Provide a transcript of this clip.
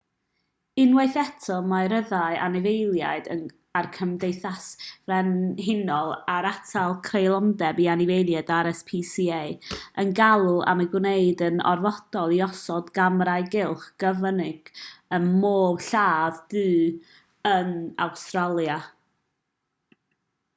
unwaith eto mae rhyddhau anifeiliaid a'r gymdeithas frenhinol er atal creulondeb i anifeiliaid rspca yn galw am ei gwneud yn orfodol i osod camerâu cylch cyfyng ym mhob lladd-dy yn awstralia